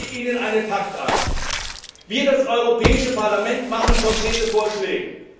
Ich biete Ihnen einen Pakt an Wir, das Europäische Parlament, machen konkrete Vorschläge.